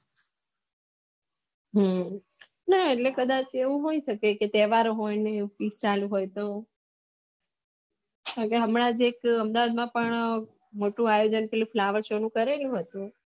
હમમ ના એટલે કદાચ એવું હોય સકે જે ત્યોહારો હોય ને ચાલુ હોય તો એટલે હમણાં અમદાવાદ માં પણ મોટો આયોજન ફ્લોવેર કરેલું હતું